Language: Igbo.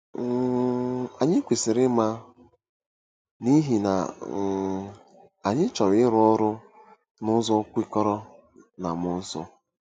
um Anyị kwesịrị ịma, n’ihi na um anyị chọrọ ịrụ ọrụ n’ụzọ kwekọrọ na mmụọ nsọ.